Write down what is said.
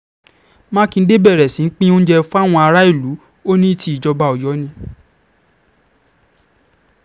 um mákindé bẹ̀rẹ̀ sí í pín oúnjẹ fáwọn aráàlú um ó ní tìjọba ọ̀yọ́ ni